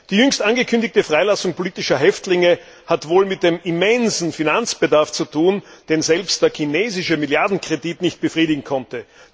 Die jüngst angekündigte Freilassung politischer Häftlinge hat wohl mit dem immensen Finanzbedarf zu tun, den selbst der chinesische Milliardenkredit nicht befriedigen konnte.